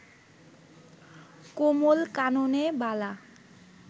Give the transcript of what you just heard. কমল-কাননে বালা